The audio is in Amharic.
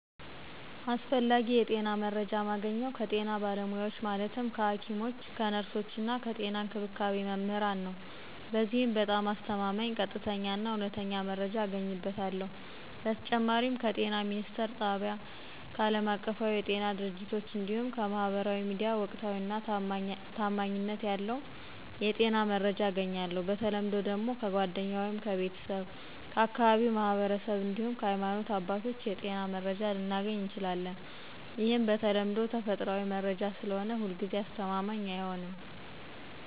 አስፈላጊ የጤና መረጃ ማገኘው ከጤና ባለሙያዎች ማለትም ከሐኪሞች፣ ከነርሶች እና ከጤና እንክብካቤ መምህራን ነዉ። በዚህም በጣም አስተማማኝ፣ ቀጥተኛ እና እውነተኛ መረጃ አገኝበታለሁ። በተጨማሪም ከጤና ሚኒስትር ጣቢያ፣ ከአለማቀፋዊ የጤና ድርጅቶች እንዲሁም ከማህበራዊ ሚዲያ ወቅታዊና ታማኝነት ያለው የጤና መረጃ አገኛለሁ። በተለምዶ ደግሞ ከጓደኛ ወይም ከቤተሰብ፣ ከአካባቢው ማህበረሰብ እንዲሁም ከሀይማኖት አባቶች የጤና መረጃ ልናገኝ እንችላለን። ይህም በተለምዶ ተፈጥሯዊ መረጃ ስለሆነ ሁልጊዜ አስተማማኝ አይሆንም።